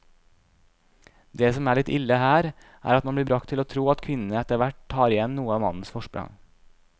Det som er litt ille her, er at man blir bragt til å tro at kvinnene etterhvert tar igjen noe av mannens forsprang.